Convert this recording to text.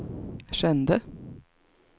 kände